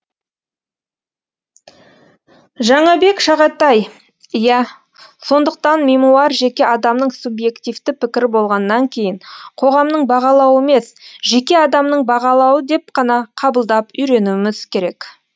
жаңабек шағатаи иә сондықтан мемуар жеке адамның субъективті пікірі болғаннан кейін қоғамның бағалауы емес жеке адамның бағалауы деп қана қабылдап үйренуіміз керек